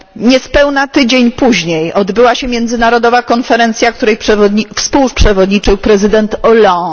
Niespełna tydzień później odbyła się międzynarodowa konferencja, której współprzewodniczył prezydent Hollande.